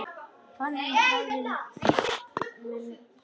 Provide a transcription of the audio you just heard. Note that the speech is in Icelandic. Þannig hefst minn bati.